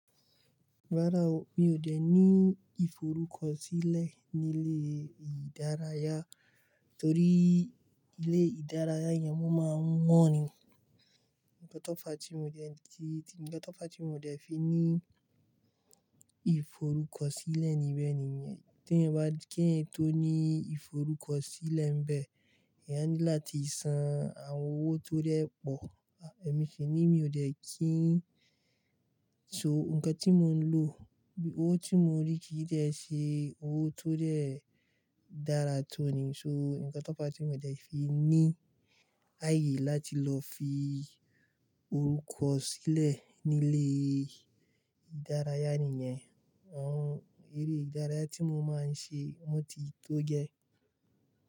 Rárá o, mi ò dẹ́ ní ìforúkọ sílẹ̀ nílé ìdárayá torí ilé ìdárayá yẹn wọ́n máa ń wọ́n ni. Ǹkan tó fá tí mi ò dẹ́ ti, Ǹkan tó fá tí n o dẹ́ fi ní ìforúkọ sílẹ̀ níbẹ̀ nìyẹn. T’èèyàn bá–k’èèyàn tó ní ìforúkọ sílẹ̀ nbẹ̀, èèyàn ní láti san àwọn owó tó dẹ́ pọ̀. Èmi sì ní mi ò dẹ́ kí ń. So nǹkan tí mo ń lò, owó tí mo rí kì í dẹ́ ṣe owó tó dẹ́ dára tó ni. So ǹkan to fá tí mi o dẹ́ fi ní ààyè láti lọ fi orúkọ sílẹ̀ nílé ìdárayá nìyẹn. Àwọn eré ìdárayá tí mo máa ń ṣe, wọ́n ti tó gẹ́